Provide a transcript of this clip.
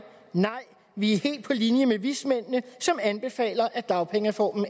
nej vi er helt på linje med vismændene som anbefaler at dagpengereformen